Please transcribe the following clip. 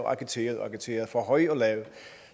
og agiterede agiterede for høj og lav og